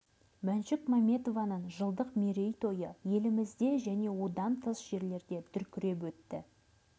мәншүк мәметованың жылдық мерейтойы елімізде және одан тыс жерлерде дүркіреп өтті